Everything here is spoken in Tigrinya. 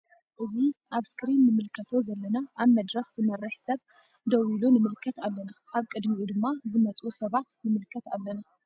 እዚ ኣብ እስክሪን እንመልከቶ ዘለና ኣብ መድረክ ዝመረሕ ሰብ ደዎ ኢሉ ንምልከት ኣለና ኣበ ቅድሚኡ ደማ ዝመፁ ሰባት ንምልከት አለና።